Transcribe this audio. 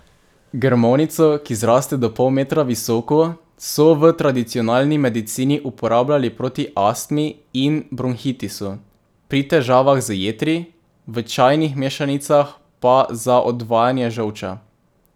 Grmovnico, ki zraste do pol metra visoko, so v tradicionalni medicini uporabljali proti astmi in bronhitisu, pri težavah z jetri, v čajnih mešanicah pa za odvajanje žolča.